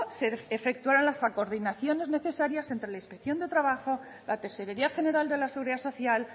se efectuarán las actuaciones necesarias entre la inspección de trabajo la tesorería general de la seguridad social